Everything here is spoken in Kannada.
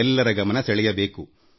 ಎಲ್ಲರ ಗಮನ ಸೆಳೆಯಬೇಕಾಗುತ್ತದೆ